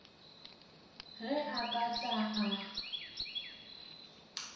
ge a ka tla a